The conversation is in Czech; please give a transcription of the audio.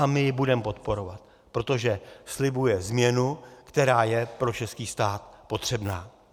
A my ji budeme podporovat, protože slibuje změnu, která je pro český stát potřebná.